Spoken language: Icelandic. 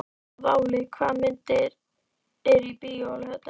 Váli, hvaða myndir eru í bíó á laugardaginn?